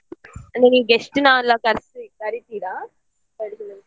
ನೀವೀಗ guest ನ್ನ ಎಲ್ಲ ಕರ್ಸಿ ಕರೀತೀರಾ?